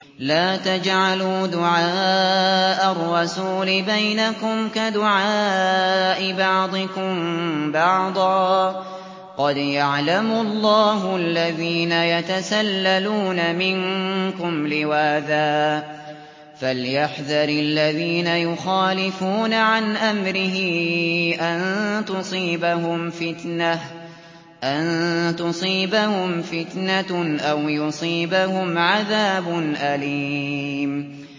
لَّا تَجْعَلُوا دُعَاءَ الرَّسُولِ بَيْنَكُمْ كَدُعَاءِ بَعْضِكُم بَعْضًا ۚ قَدْ يَعْلَمُ اللَّهُ الَّذِينَ يَتَسَلَّلُونَ مِنكُمْ لِوَاذًا ۚ فَلْيَحْذَرِ الَّذِينَ يُخَالِفُونَ عَنْ أَمْرِهِ أَن تُصِيبَهُمْ فِتْنَةٌ أَوْ يُصِيبَهُمْ عَذَابٌ أَلِيمٌ